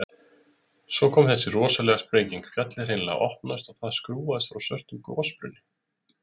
Svo kom þessi rosalega sprenging, fjallið hreinlega opnaðist og það skrúfaðist frá svörtum gosbrunn.